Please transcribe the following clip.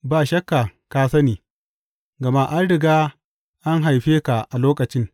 Ba shakka ka sani, gama an riga an haife ka a lokacin!